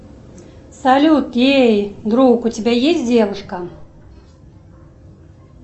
салют эй друг у тебя есть девушка